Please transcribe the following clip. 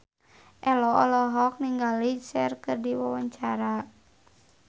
Ello olohok ningali Cher keur diwawancara